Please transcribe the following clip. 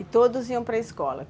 E todos iam para a escola?